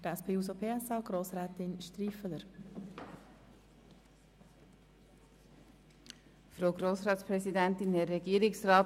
Für die SP-JUSO-PSA-Fraktion hat Grossrätin Striffeler das Wort.